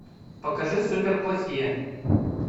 покажи суперплохие